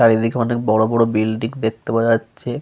চারিদিকে অনেক বড় বড় বিল্ডিং দেখতে পাওয়া যাচ্ছে।